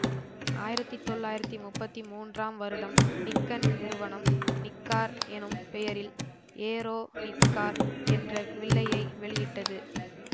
ஆயிரத்தி தொள்ளாயிரத்தி முப்பத்தி மூன்றாம் வருடம் நிக்கன் நிறுவனம் நிக்கார் எனும் பெயரில் ஏரோ நிக்கார் என்ற வில்லையை வெளியிட்டது